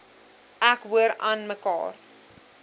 ek hoor aanmekaar